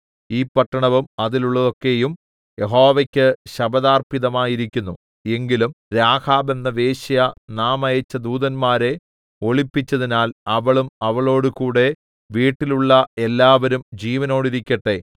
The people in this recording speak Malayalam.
ഈ പട്ടണവും അതിലുള്ളതൊക്കെയും യഹോവയ്ക്ക് ശപഥാർപ്പിതമായിരിക്കുന്നു എങ്കിലും രാഹാബ് എന്ന വേശ്യ നാം അയച്ച ദൂതന്മാരെ ഒളിപ്പിച്ചതിനാൽ അവളും അവളോടുകൂടെ വീട്ടിലുള്ള എല്ലാവരും ജീവനോടിരിക്കട്ടെ